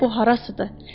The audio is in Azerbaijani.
Hələ bu harasıdır?